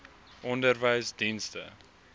onderwysdienste